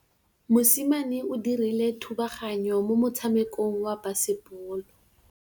Mosimane o dirile thubaganyô mo motshamekong wa basebôlô.